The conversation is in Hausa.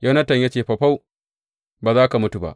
Yonatan ya ce, Faufau, ba za ka mutu ba!